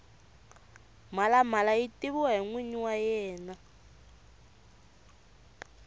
mhalamala yi tiviwa hi nwinyi wa yena